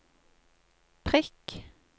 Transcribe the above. prikk